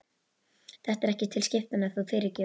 Þetta er ekki til skiptanna, þú fyrirgefur.